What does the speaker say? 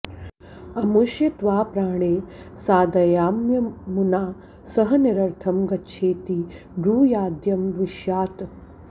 अ॒मुष्य॑ त्वा प्रा॒णे सा॑दयाम्य॒मुना॑ स॒ह नि॑र॒र्थं ग॒च्छेति॑ ब्रूया॒द्यं द्वि॒ष्यात्